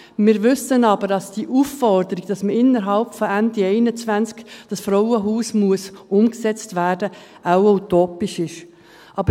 Wir wissen aber, dass die Aufforderung, das Frauenhaus bis Ende 2021 umsetzen zu müssen, wahrscheinlich utopisch ist.